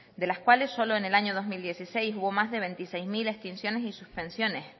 de las cuales solo en el año dos mil dieciséis hubo más de veintiséis mil extinciones y suspensiones